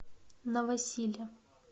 новосиле